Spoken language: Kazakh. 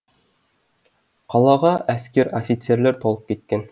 қалаға әскер офицерлер толып кеткен